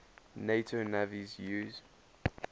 nato navies use